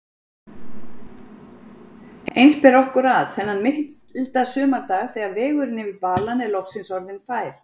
Eins ber okkur að, þennan milda sumardag þegar vegurinn yfir balann er loksins orðinn fær.